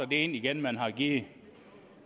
det ind igen man har givet